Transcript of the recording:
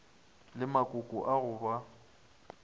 le makoko a go ba